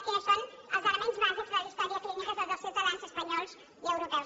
quins són els elements bàsics de la història clínica de tots els ciutadans espanyols i europeus